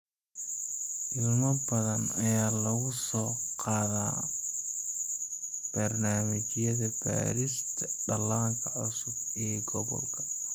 Ilmo badan ayaa lagu soo qaadaa barnaamijyada baarista dhallaanka cusub ee gobolka.